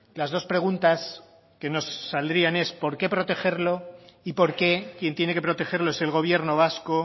las dos preguntas que nos saldrían es por qué protegerlo y por qué quien tiene que protegerlo es el gobierno vasco